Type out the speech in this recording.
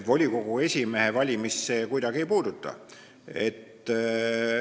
Volikogu esimehe valimist see kuidagi ei puuduta.